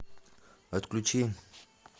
отключи